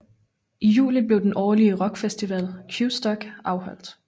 I juli bliver den årlige rock festival Qstock afholdt